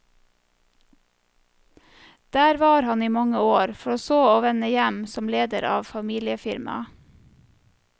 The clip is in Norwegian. Der var han i mange år, for så å vende hjem som leder av familiefirmaet.